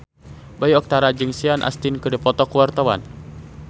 Bayu Octara jeung Sean Astin keur dipoto ku wartawan